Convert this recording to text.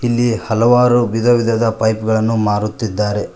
ಇಲ್ಲಿ ಹಲವಾರು ವಿಧವಿಧದ ಪೈಪ್ ಗಳನ್ನು ಮಾರುತ್ತಿದ್ದಾರೆ.